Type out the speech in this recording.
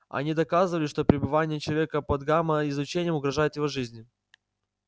они доказывали что пребывание человека под гамма излучением угрожает его жизни